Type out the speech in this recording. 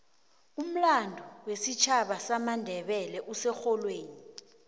umlando wesitjhaba samandebele userholweni